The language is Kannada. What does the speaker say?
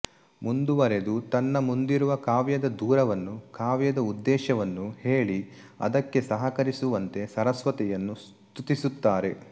ಮುಂದುವರೆದು ತನ್ನ ಮುಂದಿರುವ ಕಾವ್ಯದ ದೂರವನ್ನು ಕಾವ್ಯದ ಉದ್ದೇಶವನ್ನು ಹೇಳಿ ಅದಕ್ಕೆ ಸಹಕರಿಸುವಂತೆ ಸರಸ್ವತಿಯನ್ನು ಸ್ತುತಿಸುತ್ತಾರೆ